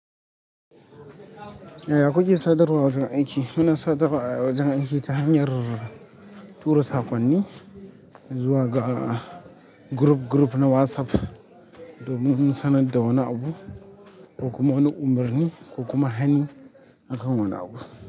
Ya kuke sadarwa a wajen aiki? Muna sadarwa a wajen aiki ta hanyar tura saƙonni zuwa ga group group na WhatsApp domin sanar da wani abu ko kuma wani umurni ko kuma hani, hakan wani abu.